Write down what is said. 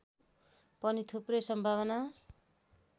पनि थुप्रै सम्भावना